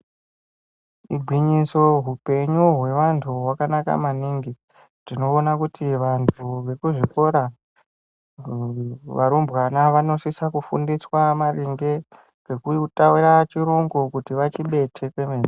Igwinyiso, hupenyu hwevantu hwakanaka maningi. Tinoona kuti vantu vekuzvikora, varumbwana vanosisa kufundiswa maringe ngekutaura chirungu kuti vachibete kwemene.